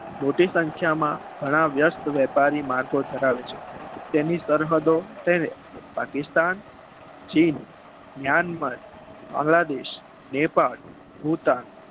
મોટી સંખ્યામાં ઘણા વ્યસ્ત વેપારી માર્ગે ધરાવે છે એની સરહદો પાકિસ્તાન ચીન મ્યાનમાર બાંગ્લાદેશ નેપાળ ભૂતાન